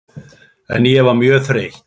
En ég var mjög þreytt.